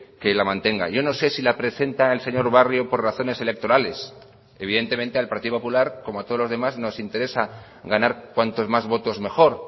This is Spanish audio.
que la mantenga yo no sé si la presenta el señor barrio por razones electorales evidentemente al partido popular como a todos los demás nos interesa ganar cuantos más votos mejor